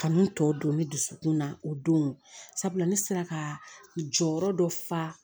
Kanu tɔ don ne dusukun na o don sabula ne sera ka jɔyɔrɔ dɔ fa